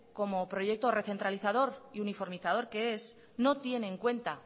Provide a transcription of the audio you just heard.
como proyecto recentralizador y uniformizador que es no tiene en cuenta